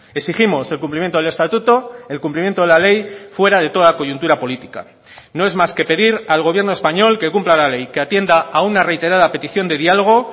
exigimos el cumplimiento del estatuto el cumplimiento de la ley fuera de toda coyuntura política no es más que pedir al gobierno español que cumpla la ley que atienda a una reiterada petición de dialogo